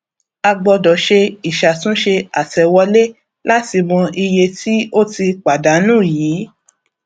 a gbọdọ ṣe ìṣàtúnṣe àtẹwolé láti mọ iye tí ó ti pàdánù yíì